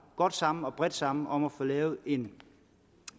godt sammen og bredt sammen om at få lavet en